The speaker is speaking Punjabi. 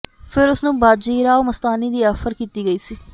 ਫਿਰ ਉਸਨੂੰ ਬਾਜੀਰਾਓ ਮਸਤਾਨੀ ਦੀ ਆਫਰ ਕੀਤੀ ਗਈ ਸੀ